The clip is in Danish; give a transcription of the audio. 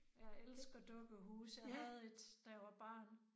Jeg elsker dukkehuse. Jeg havde et da jeg var barn